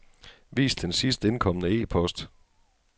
Vis den sidst indkomne e-post.